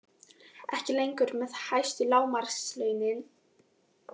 Ekki lengur með hæstu lágmarkslaunin